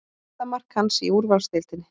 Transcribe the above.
Fyrsta mark hans í úrvalsdeildinni